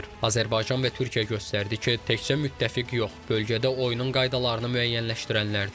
Azərbaycan və Türkiyə göstərdi ki, təkcə müttəfiq yox, bölgədə oyunun qaydalarını müəyyənləşdirənlərdir.